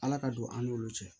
Ala ka don an n'olu cɛ